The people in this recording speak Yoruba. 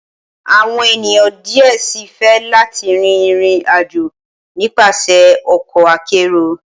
Awọn eniyan diẹ sii fẹ lati rin irin-ajo nipasẹ ọkọ akero.